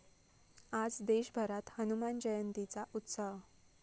आज देशभरात हनुमान जयंतीचा उत्साह!